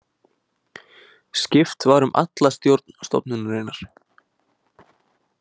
Skipt var um alla stjórn stofnunarinnar